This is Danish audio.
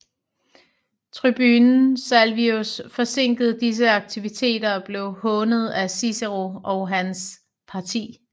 Tribunen Salvius forsinkede disse aktiviteter og blev hånet af Cicero og hans parti